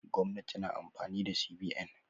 Gwamnati na amfani da CBN.